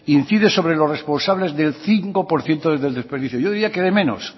incide sobre los responsables del cinco por ciento del desperdicio yo diría que de menos